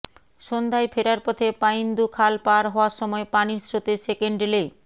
সন্ধ্যায় ফেরার পথে পাইন্দু খাল পার হওয়ার সময় পানির স্রোতে সেকেন্ড লে